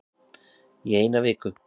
Í eina viku